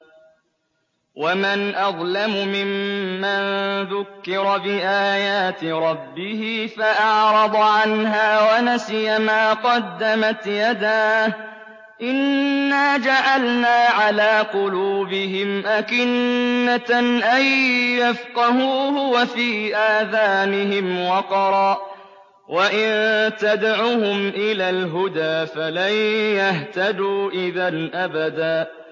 وَمَنْ أَظْلَمُ مِمَّن ذُكِّرَ بِآيَاتِ رَبِّهِ فَأَعْرَضَ عَنْهَا وَنَسِيَ مَا قَدَّمَتْ يَدَاهُ ۚ إِنَّا جَعَلْنَا عَلَىٰ قُلُوبِهِمْ أَكِنَّةً أَن يَفْقَهُوهُ وَفِي آذَانِهِمْ وَقْرًا ۖ وَإِن تَدْعُهُمْ إِلَى الْهُدَىٰ فَلَن يَهْتَدُوا إِذًا أَبَدًا